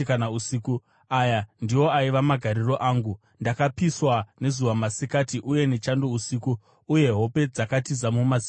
Aya ndiwo aiva magariro angu: Ndakapiswa nezuva masikati uye nechando usiku, uye hope dzakatiza mumaziso angu.